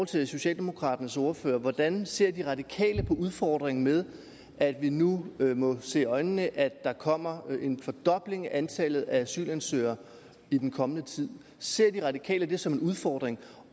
til socialdemokraternes ordfører hvordan ser de radikale på udfordringen med at vi nu må se i øjnene at der kommer en fordobling af antallet af asylansøgere i den kommende tid ser de radikale det som en udfordring